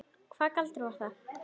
Og hvaða galdur var það?